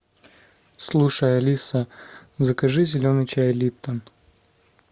слушай алиса закажи зеленый чай липтон